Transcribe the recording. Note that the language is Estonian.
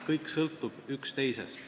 Kõik on omavahel sõltuvuses.